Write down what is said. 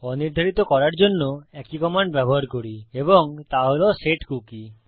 অনির্ধারিত করার জন্য একই কমান্ড ব্যবহার করি এবং তা হল সেটকুকি